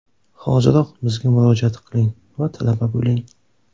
Hoziroq bizga murojaat qiling va talaba bo‘ling!